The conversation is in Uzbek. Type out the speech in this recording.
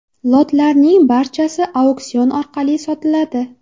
Lotlarning barchasi auksion orqali sotiladi.